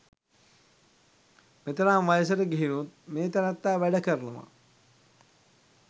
මෙතරම් වයසට ගිහිනුත් මේ තැනැත්තා වැඩ කරනවා.